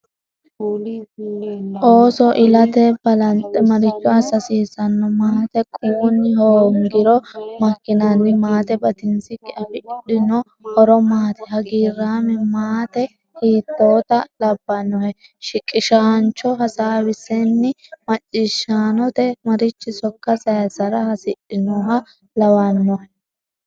Ooso ilate balanxe maricho assa hasiissanno? Maate quwunni hoongiro makkinanni? Maate batinsikki afidhino horo maati? Hagiirraame maate hiittoota labbannohe? Shiqishaancho hasaawisenni macciishaanote marichi sokka sayissara hasidhinoha lawannohe?